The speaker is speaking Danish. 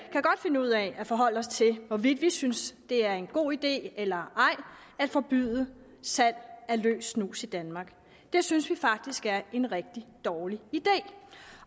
finde ud af at forholde os til hvorvidt vi synes det er en god idé eller ej at forbyde salg af løs snus i danmark det synes vi faktisk er en rigtig dårlig idé